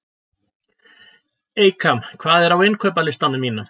Eykam, hvað er á innkaupalistanum mínum?